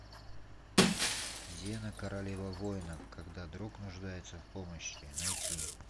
зена королева воинов когда друг нуждается в помощи найти